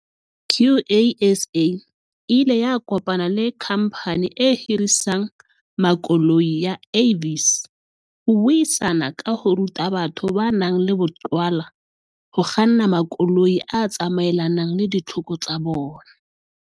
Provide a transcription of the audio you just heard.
QASA e ile ya kopana le khamphani e hirisang makoloi ya Avis ho buisana ka ho ruta batho ba nang le boqhwala ho kganna makoloi a tsamaelanang le ditlhoko tsa bona.